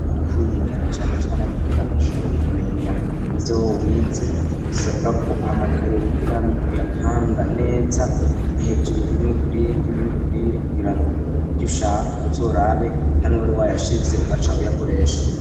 Ukwiga cyane cyane kugira ngo ashobore kumenya ivyo wize bisabwa ko amakayi wigiramwo uyapanga neza hejuru rimwe kurindi irindi kurindi kugira ngo ivyo ushaka uzorabe hamwe wari wayashize ugaca uyakoresha